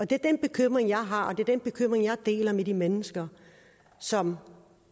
det er den bekymring jeg har og det er den bekymring jeg deler med de mennesker som